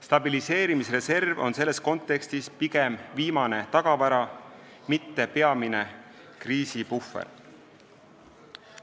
Stabiliseerimisreserv on selles kontekstis pigem viimane tagavara, mitte peamine kriisipuhver.